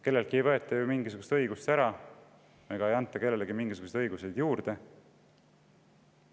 Kelleltki ei võeta ju mingisugust õigust ära ega anta ka kellelegi mingisuguseid õiguseid juurde.